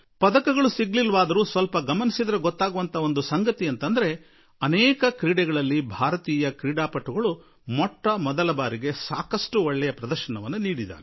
ಆದರೆ ಪದಕ ಸಿಗದೇ ಇದ್ದರೂ ಸ್ವಲ್ಪ ಗಮನಿಸಿ ನೋಡಿದಾಗ ಅನೇಕ ಸ್ಪರ್ಧೆಗಳಲ್ಲಿ ಇದೇ ಮೊದಲ ಸಲವಾಗಿ ಭಾರತದ ಆಟಗಾರರು ಸಾಕಷ್ಟು ಉತ್ತಮ ಕೌಶಲ್ಯವನ್ನೇ ತೋರಿಸಿದ್ದಾರೆ